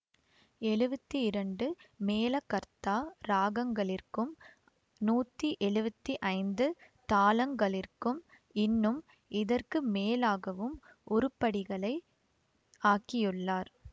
எழுவத்தி இரண்டு மேளகர்த்தா இராகங்களிற்கும் நூற்றி எழுவத்தி ஐந்து தாளங்களிற்கும் இன்னும் இதற்கு மேலாகவும் உருப்படிகளை ஆக்கியுள்ளார்